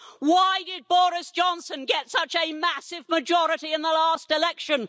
Why did Boris Johnson get such a massive majority in the last election?